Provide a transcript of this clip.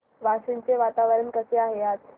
वाशिम चे वातावरण कसे आहे आज